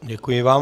Děkuji vám.